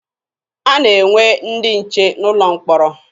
A na-enwe ndị nche n'ụlọ mkpọrọ.